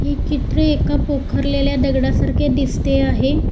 हे चित्र एका पोखरलेल्या दगडासारखे दिसते आहे.